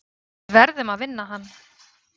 Við verðum að vinna hann.